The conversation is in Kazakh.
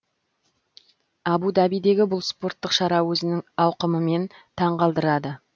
абу дабидегі бұл спорттық шара өзінің ауқымымен таң қалдырады